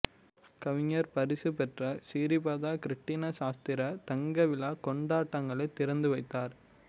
கவிஞர் பரிசு பெற்ற சிறீபாத கிருட்டிண சாஸ்திரி தங்க விழா கொண்டாட்டங்களை திறந்து வைத்தார்